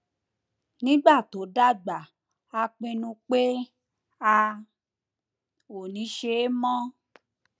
nígbà tó dàgbà a pinnu pé a ò ní ṣe é mọ